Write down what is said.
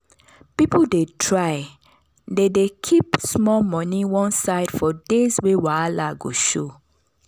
people dey try dey dey keep small money one side for days wey wahala go show.